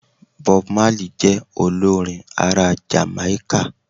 Bob Marley je olorin ara Jamáíkà